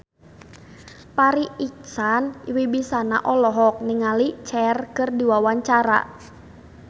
Farri Icksan Wibisana olohok ningali Cher keur diwawancara